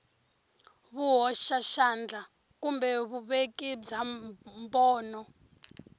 vuhoxaxandla kumbe vuveki bya mbono